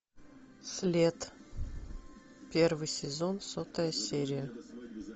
след первый сезон сотая серия